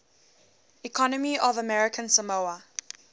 economy of american samoa